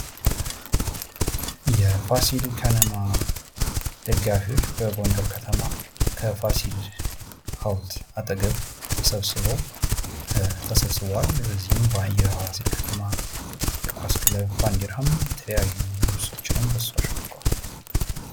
የፋሲል ከነማ ደጋፊዎች በጎንደር ከተማ ከፋሲል ሀውልት አጠገብ ተሰብስበው ተሰብስበዋል። በዚህ በፋሲል ከነማ የኳስ ክለብ ባንድራ የተለያዩ ልብሶችንም ለብሰዋል።